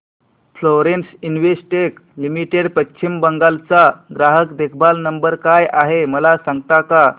Florence Investec limited Paschim Bangal चा ग्राहक देखभाल नंबर काय आहे मला सांगता का